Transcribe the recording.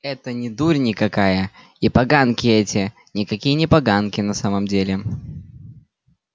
это не дурь никакая и поганки эти никакие не поганки на самом деле